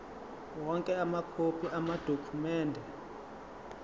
onke amakhophi amadokhumende